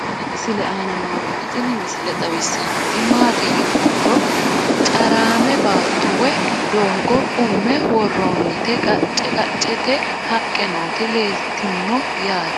tenne misile aana noorina tini misile xawissannori maati yinummoro caraamme baatto woy doogo umme woroonnitti qacce qacceette haqqe nootti leelittanno yaatte